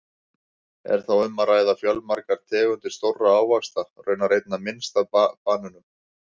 Er þá um að ræða fjölmargar tegundir stórra ávaxta, raunar einna minnst af banönum!